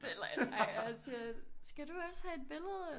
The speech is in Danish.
Det er en løgn ej og så siger skal du også have et billede